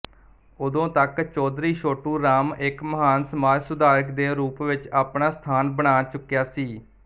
ਉਦੋਂਤੱਕ ਚੌਧਰੀ ਛੋਟੂਰਾਮ ਇੱਕ ਮਹਾਨ ਸਮਾਜ ਸੁਧਾਰਕ ਦੇ ਰੂਪ ਵਿੱਚ ਆਪਣਾ ਸਥਾਨ ਬਣਾ ਚੁੱਕਿਆ ਸੀ